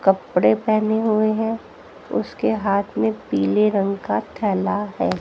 कपड़े पहने हुए हैं उसके हाथ में पीले रंग का थैला है।